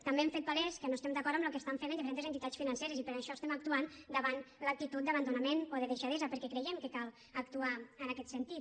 també hem fet palès que no estem d’acord amb el que estan fent diferents entitats financeres i per això estem actuant davant l’actitud d’abandonament o de deixadesa perquè creiem que cal actuar en aquest sentit